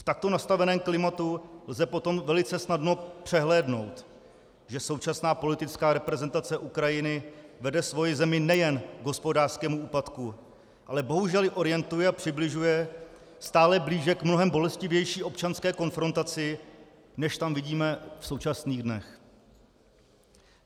V takto nastaveném klimatu lze potom velice snadno přehlédnout, že současná politická reprezentace Ukrajiny vede svoji zemi nejen k hospodářskému úpadku, ale bohužel ji orientuje a přibližuje stále blíže k mnohem bolestivější občanské konfrontaci, než tam vidíme v současných dnech.